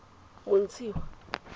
motshiwa